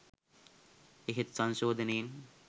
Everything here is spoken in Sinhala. එහෙත් සංශෝධනයෙන්